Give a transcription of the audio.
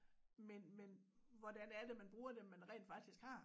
Men men hvordan er det man bruger dem man rent faktisk har